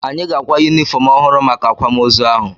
Anyị ga-akwa yunifọm ọhụrụ maka akwamoozu ahụ.